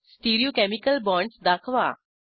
stereochemical bonds दाखवा